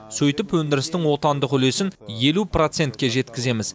сөйтіп өндірістің отандық үлесін елу процентке жеткіземіз